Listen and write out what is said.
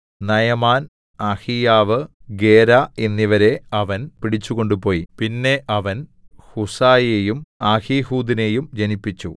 Naaman Ahijah Gera എന്നിവരെ അവൻ പിടിച്ചു കൊണ്ടുപോയിപിന്നെ അവൻ ഹുസ്സയെയും അഹീഹൂദിനെയും ജനിപ്പിച്ചു